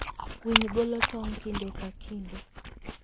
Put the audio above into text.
Winy golo tong' kinde ka kinde.